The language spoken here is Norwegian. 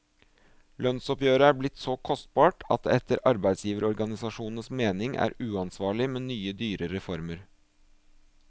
Lønnsoppgjøret er blitt så kostbart at det etter arbeidsgiverorganisasjonens mening er uansvarlig med nye dyre reformer.